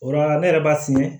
O la ne yɛrɛ b'a fiyɛ